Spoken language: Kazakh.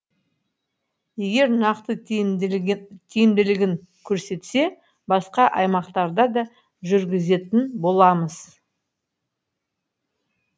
егер нақты тиімділігін көрсетсе басқа аймақтарда да жүргізетін боламыз